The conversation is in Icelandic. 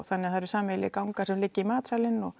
það eru sameiginlegir gangar sem liggja í matsalinn